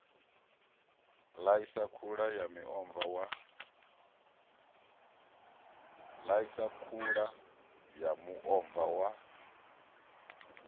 ḽaisa khula ya muomva wa